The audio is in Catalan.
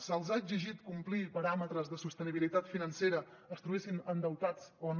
se’ls ha exigit complir paràmetres de sostenibilitat financera es trobessin endeutats o no